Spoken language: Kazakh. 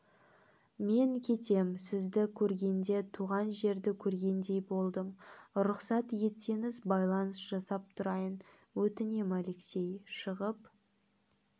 мен кетем сізді көргенде туған жерді көргендей болдым рұқсат етсеңіз байланыс жасап тұрайын өтінем алексей шығып